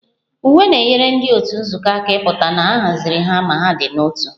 Uwe na-enyere ndị otu nzukọ aka ịpụta na a haziri ha ma dị n'otu